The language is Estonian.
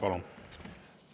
Palun!